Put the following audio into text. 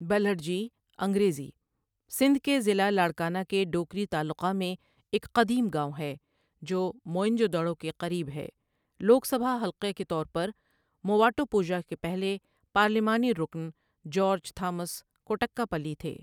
بلھڑجی انگریزی سندھ کے ضلع لاڑکانہ کے ڈوکری تعلقہ میں ایک قدیم گائوں ہے جو موئن جو دڑو کے قریب ہے لوک سبھا حلقہ کے طور پر موواٹوپوژا کے پہلے پارلیمانی رکن جارج تھامس کوٹّکاپلی تھے۔